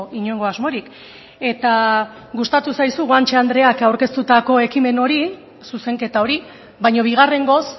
inongo asmorik eta gustatu zaizu guanche andreak aurkeztutako ekimen hori zuzenketa hori baina bigarrengoz